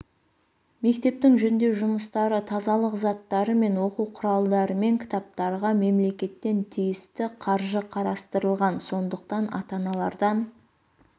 мектептің жөндеу жұмыстары тазалық заттары мен оқу құралдары мен кітаптарға мемлекеттен тиісті қаржы қарастырылған сондықтан ата-аналардан